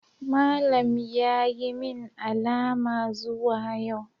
Malam ya yi min alama zuwa yau.